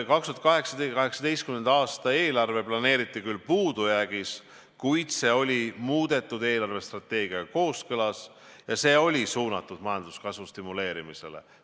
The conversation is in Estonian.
2018. aasta eelarve planeeriti küll puudujäägis, kuid see oli muudetud eelarvestrateegiaga kooskõlas ja see oli suunatud majanduskasvu stimuleerimisele.